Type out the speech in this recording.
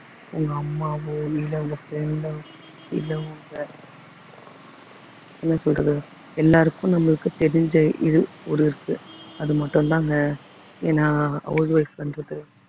உங்க அம்மாவோ இல்லை உங்க friend ஓ இல்லை உங்க என்ன சொல்றது எல்லாருக்கும் நம்மளுக்கு தெரிஞ்ச இது ஒரு இருக்கு அது மட்டும் தாங்க ஏன்னா house wife ன்றது